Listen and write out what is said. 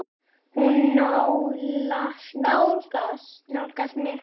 Hún nálgast mig.